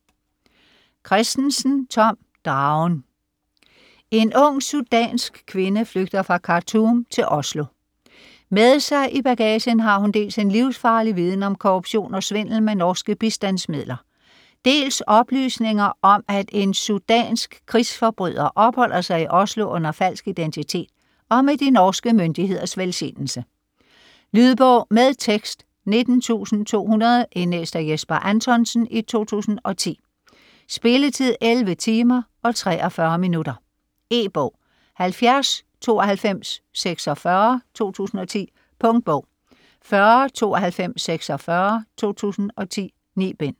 Kristensen, Tom: Dragen En ung sudansk kvinde flygter fra Khartoum til Oslo. Med sig i bagagen har hun dels en livsfarlig viden om korruption og svindel med norske bistandsmidler, dels oplysninger om at en sudansk krigsforbryder opholder sig i Oslo under falsk identitet og med de norske myndigheders velsignelse. Lydbog med tekst 19200 Indlæst af Jesper Anthonsen, 2010. Spilletid: 11 timer, 43 minutter. E-bog 709246 2010. Punktbog 409246 2010. 9 bind.